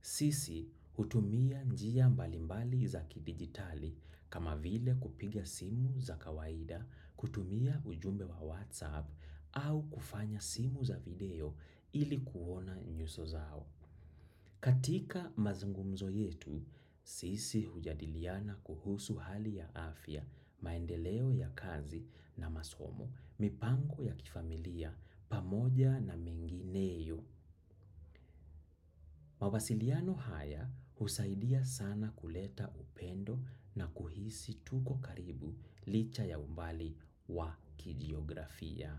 Sisi, hutumia njia mbalimbali za kidigitali kama vile kupiga simu za kawaida, kutumia ujumbe wa whatsapp au kufanya simu za video ili kuona nyuso zao. Katika mazungumzo yetu, sisi hujadiliana kuhusu hali ya afya, maendeleo ya kazi na masomo, mipango ya kifamilia, pamoja na mengineyo. Mawasiliano haya husaidia sana kuleta upendo na kuhisi tuko karibu licha ya umbali wa kijiografia.